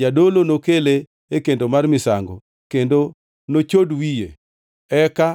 Jadolo nokele e kendo mar misango, kendo nochod wiye, eka